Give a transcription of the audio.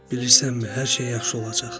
Bilirsinizmi, hər şey yaxşı olacaq.